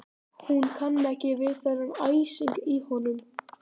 Hún kann ekki við þennan æsing í honum.